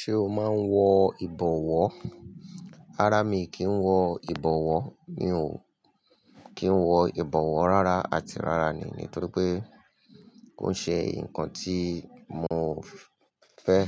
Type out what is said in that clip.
Ṣé o máa ń wọ ìbọwọ́? Rárá mi kì í wọ ìbọwọ́, mi ò kí ń wọ ìbọwọ́ rárá àti rárá ni. Nítorí pé kò ń ṣe nǹkan tí mò ń fẹ́,